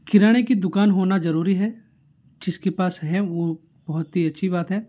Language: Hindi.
किराने की दुकान होना जरूरी है जिसके पास है वो बोहोत ही अच्छी बात है।